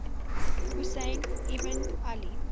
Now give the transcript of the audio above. husayn ibn ali